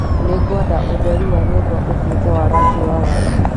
Nĩngwenda ũtheri wa nyũmba ũtuĩke wa rangi wa waru